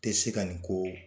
Tɛ se ka nin ko